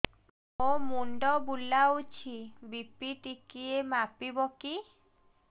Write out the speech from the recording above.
ମୋ ମୁଣ୍ଡ ବୁଲାଉଛି ବି.ପି ଟିକିଏ ମାପିବ କି